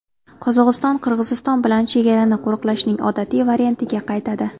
Qozog‘iston Qirg‘iziston bilan chegarani qo‘riqlashning odatiy variantiga qaytadi.